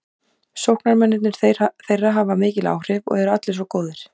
Sóknarmennirnir þeirra hafa mikil áhrif og eru allir svo góðir.